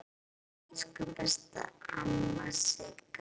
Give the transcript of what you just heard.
Elsku besta amma Sigga.